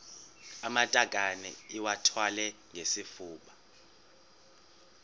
amatakane iwathwale ngesifuba